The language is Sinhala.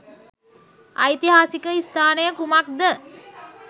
ඓතිහාසික ස්ථානය කුමක්ද?